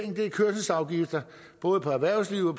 ved kørselsafgifter både for erhvervslivet